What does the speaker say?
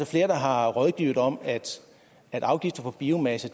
flere der har rådgivet om at afgifter på biomasse